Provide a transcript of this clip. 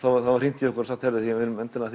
það var hringt í okkur og sagt að við viljum endilega